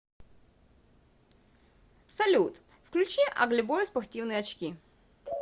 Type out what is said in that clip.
салют включи аглибой спортивные очки